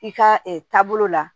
I ka taabolo la